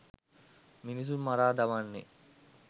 මිනිසුන් මරා දමන්නේ.